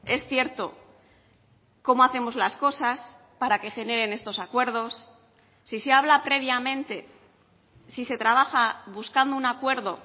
es cierto cómo hacemos las cosas para que generen estos acuerdos si se habla previamente si se trabaja buscando un acuerdo